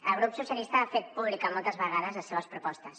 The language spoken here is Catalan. el grup socialistes ha fet pública moltes vegades les seves propostes